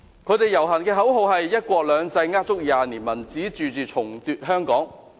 他們的遊行口號是"一國兩制呃足廿年；民主自治重奪香港"。